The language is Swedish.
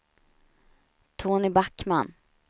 Tony Backman